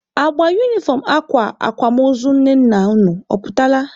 Agba unifọm akwa akwamozu nne nna unu ọ pụtala?